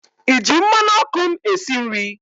ịji mmanụ ọkụ m esi nri?